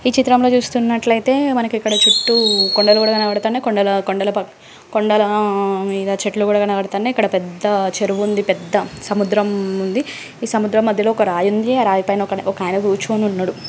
ఈ చిత్రంలో చూస్తున్నట్లైతే మనకిక్కడ చుట్టూ కొండలు కూడా కనపడుతున్నాయి. కొండల కొండల పక్ కొండలా ఆ-ఆ మీద చెట్లు కూడా కనపడుతున్నాయి. ఇక్కడ పెద్ద చెరువు ఉంది. పెద్ద సముద్రం ఉంది. ఈ సముద్రం మధ్యలో ఒక రాయి ఉంది. ఆ రాయిపైన ఒక-ఒకాయన కూర్చుని ఉన్నడు.